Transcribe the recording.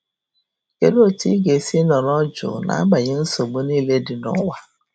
Kedu otu ị ga-esi nọrọ jụụ n'agbanyeghị nsogbu niile dị n'ụwa?